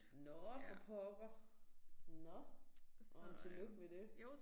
Nåh for pokker. Nåh nåh men tillykke med det